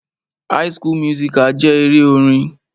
High school musical jẹ́ eré orin.